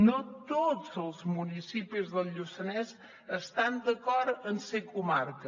no tots els municipis del lluçanès estan d’acord en ser comarca